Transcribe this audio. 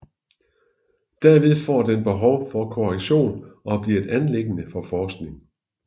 Derved får den behov for korrektion og bliver et anliggende for forskning